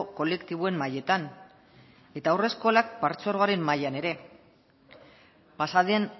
kolektiboen mailetan eta haurreskolak patzuergoaren mailan ere pasaden